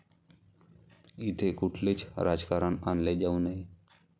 इथे कुठलेच राजकारण आणले जाऊ नये.